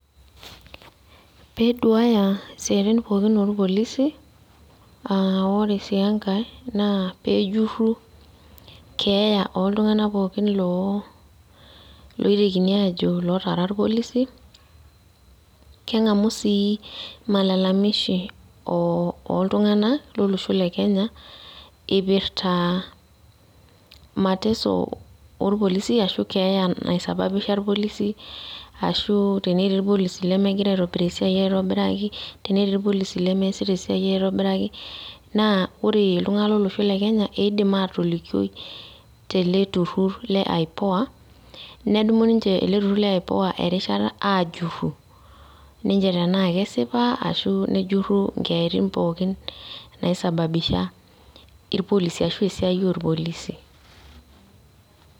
peduaya isiatin pookin olpolisi, aa ore si enkae na pejuru keeya oltungana pooki lootekini ajo ilotara ilpolisi, kengamu si, malalamishi oltungana lolosho le kenya, ipirta mateso olpolisi ashu keya nasababisha ilpolisi, ashu teneti ilpolisi lemingira aitobir esiai aitobiraki, teneti ilpolisi lemiasiata esiai aitobiraki, na ore iltungana lolosho le kenya, edim atolikioi teleturur le ipoa nedumu ninche ele turur le ipoa erishata ajuru, ninche tena kesipa ashu nejuru inkeyatin pooki nai sababisha ilpolisi ashu isiatin olpolisi